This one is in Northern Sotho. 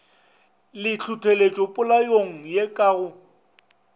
le tlhohleletšopolaong ye ka go